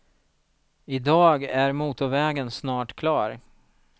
I dag är motorvägen snart klar.